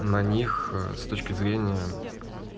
на них с точки зрения